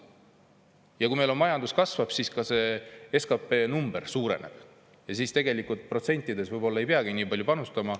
Ja kui meil majandus kasvab, siis ka see SKP number suureneb ja siis tegelikult protsentides võib-olla ei peagi nii palju panustama.